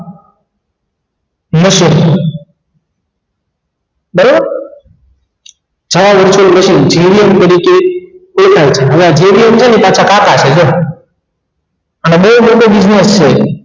નશો છાયા વચ્ચે નહિ જેવીક પરિચય દેખાય છે હવે આ જેવીક છે ને એ પાછા છે ને કાકા છે જો અને બેય મોટી છે